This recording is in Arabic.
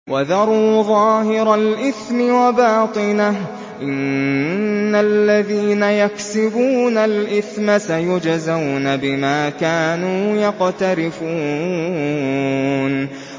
وَذَرُوا ظَاهِرَ الْإِثْمِ وَبَاطِنَهُ ۚ إِنَّ الَّذِينَ يَكْسِبُونَ الْإِثْمَ سَيُجْزَوْنَ بِمَا كَانُوا يَقْتَرِفُونَ